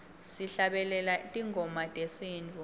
sihlabelela tingoma tesintfu